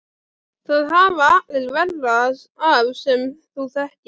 Það hafa allir verra af sem þú þekkir!